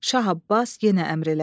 Şah Abbas yenə əmr elədi.